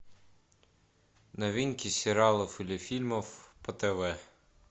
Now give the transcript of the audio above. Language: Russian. новинки сериалов или фильмов по тв